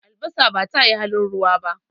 Albasa ba tayi halin ruwa ba.